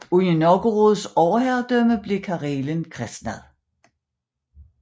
Under Novgorods overherredømme blev Karelen kristnet